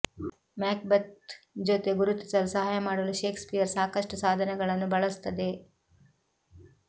ಮ್ಯಾಕ್ ಬೆತ್ ಜೊತೆ ಗುರುತಿಸಲು ಸಹಾಯ ಮಾಡಲು ಶೇಕ್ಸ್ಪಿಯರ್ ಸಾಕಷ್ಟು ಸಾಧನಗಳನ್ನು ಬಳಸುತ್ತದೆ